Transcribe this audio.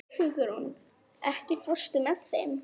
Hugrún, ekki fórstu með þeim?